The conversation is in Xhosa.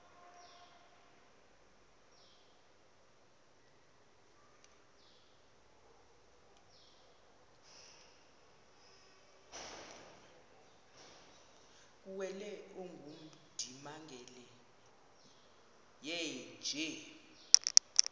kuwele ongundimangele yeenje